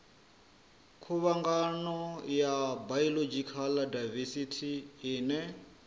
khuvhangano ya biological daivesithi ine